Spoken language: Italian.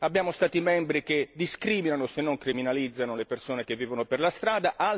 abbiamo Stati membri che discriminano, se non criminalizzano, le persone che vivono per la strada